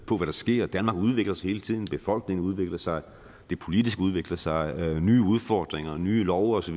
sker danmark udvikler sig hele tiden befolkningen udvikler sig det politiske udvikler sig nye udfordringer nye love osv